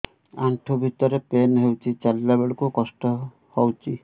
ଆଣ୍ଠୁ ଭିତରେ ପେନ୍ ହଉଚି ଚାଲିଲା ବେଳକୁ କଷ୍ଟ ହଉଚି